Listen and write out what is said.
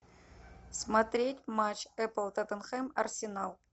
смотреть матч апл тоттенхэм арсенал